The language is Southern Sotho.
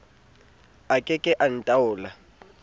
a ke ke a ntaola